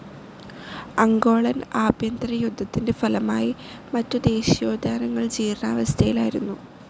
Angolan ആഭ്യന്തര യുദ്ധത്തിൻ്റെ ഫലമായി മറ്റു ദേശീയോദ്യാനങ്ങൾ ജീർണാവസ്ഥയിലായിരുന്നു.